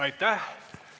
Aitäh!